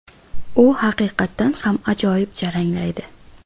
U haqiqatdan ham ajoyib jaranglaydi.